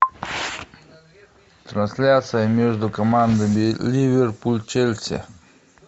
трансляция между командами ливерпуль челси